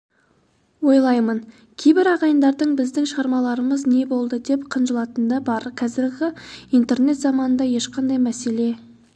ойлаймын кейбір ағайындардың біздің шығармаларымыз не болады деп қынжылатыны бар қазіргі интернет заманында ешқандай мәселе